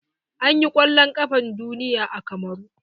An yi kwallon ƙafan duniya a kamaru.